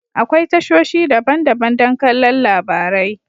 Akwai tashoshi daban-daban don kallon labarai.